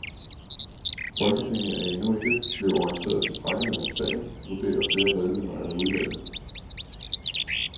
Folketinget er endnu ikke blevet orienteret tilstrækkeligt om sagen, vurderer flere medlemmer af udvalget.